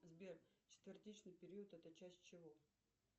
сбер четвертичный период это часть чего